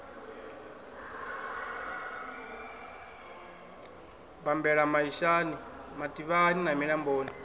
bambela maishani mativhani na milamboni